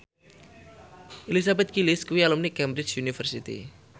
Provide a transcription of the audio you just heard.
Elizabeth Gillies kuwi alumni Cambridge University